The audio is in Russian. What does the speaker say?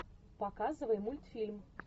показывай мультфильм